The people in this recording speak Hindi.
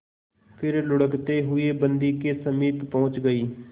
फिर लुढ़कते हुए बन्दी के समीप पहुंच गई